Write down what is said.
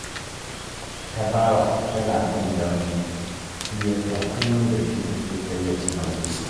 Tabawa tana son dambu, shi ya sa kullum da shi take karya kumallo